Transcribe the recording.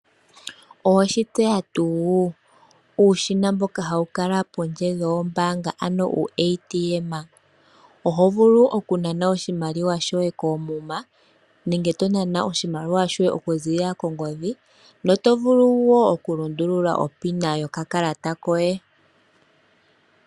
Oweshi tseya tuu? Uushina mboka hawu kala pondje wombaanga , oho vulu okunana oshimaliwa shoye koomuma nenge tonana oshimaliwa shoye okuza kongodhi , notovulu woo okulundulula onomola yokakalata koye.